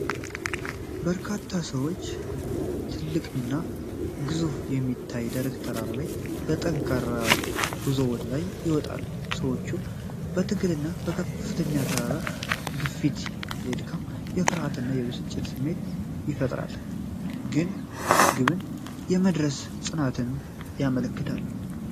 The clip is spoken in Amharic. በርካታ ሰዎች ትልቅና ገዝፎ በሚታየው ደረቅ ተራራ ላይ በጠንካራ ጉዞ ወደ ላይ ይወጣሉ። የሰዎቹ ትግልና ከፍተኛው ተራራ ግዝፈት የድካም፣ የፍርሃትና የብስጭት ስሜትን ይፈጥራል፤ ግን ግብን የመድረስ ጽናትንም ያመለክታል።